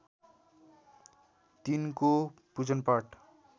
तिनको पूजनपाठ